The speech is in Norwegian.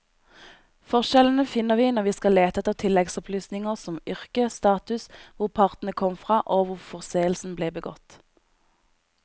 Forskjellene finner vi når vi skal lete etter tilleggsopplysninger som yrke, status, hvor partene kom fra og hvor forseelsen ble begått.